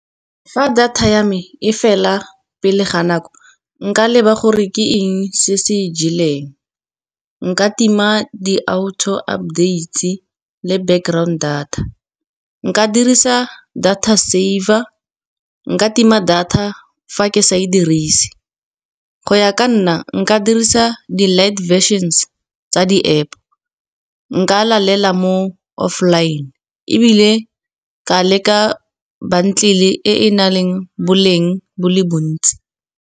Fa data ya me e fela pele ga nako nka leba gore ke eng se se e jeleng. Nka tima di-auto update le background data. Nka dirisa data saver, nka tima data fa ke sa e dirise. Go ya ka nna nka dirisa di lite versions tsa di-App, nka lalela mo off line, ebile ka leka bundle e na leng boleng bole bontsi.